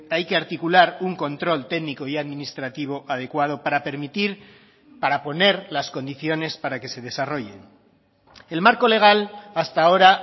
hay que articular un control técnico y administrativo adecuado para permitir para poner las condiciones para que se desarrollen el marco legal hasta ahora